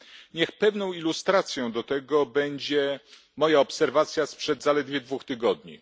Niech pewną ilustracją do tego będzie moja obserwacja sprzed zaledwie dwóch tygodni.